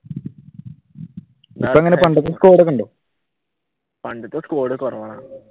പണ്ടത്തെ സ്‌ക്വാഡ് കുറവാണ്.